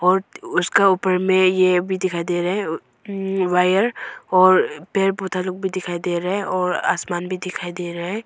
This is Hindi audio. और उसका ऊपर में ये अभी दिखाई दे रहा है अह अम्म वायर और पेड़ पौधा लोग भी दिखाई दे रहा है और आसमान भी दिखाई दे रहा है।